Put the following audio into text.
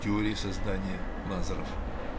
теория создания лазеров